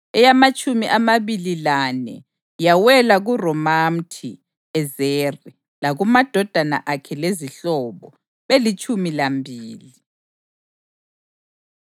eyamatshumi amabili lane yawela kuRomamthi-Ezeri lakumadodana akhe lezihlobo, belitshumi lambili.